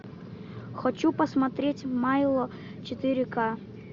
хочу посмотреть майло четыре ка